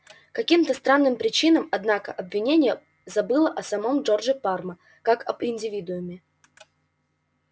каким-то странным причинам однако обвинение забыло о самом джордже парма как об индивидууме